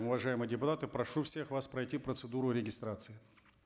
уважаемые депутаты прошу всех вас пройти процедуру регистрации